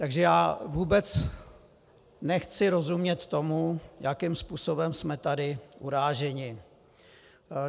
Takže já vůbec nechci rozumět tomu, jakým způsobem jsme tady uráženi.